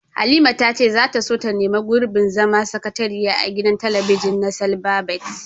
Halima ta ce za ta so neman gurbin zama sakatariya a gidan talabijin na silbabet.